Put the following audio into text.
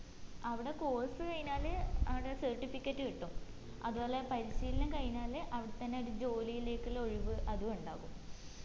അവിടെ course കഴിഞ്ഞാല് ആട certificate കിട്ടും അതുപോലെ പരിശീലനം കഴിഞ്ഞാല് അവിടെ തന്നെ ഒരു ജോലിയിലേക്കുള്ള ഒഴിവ് അതും ഉണ്ടാകും